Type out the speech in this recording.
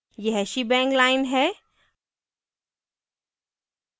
यह shebang line है